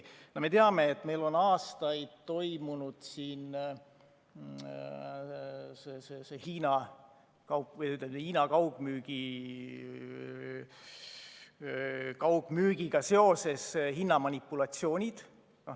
Me teame, et meil on aastaid olnud Hiinas toimuva kaugmüügiga seoses hinnamanipulatsioonid.